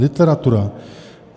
Literatura.